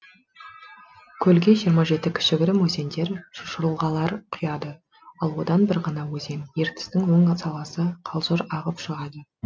көлге жиырма жеті кішігірім өзендер жылғалар құяды ал одан бір ғана өзен ертістің оң саласы қалжыр ағып шығады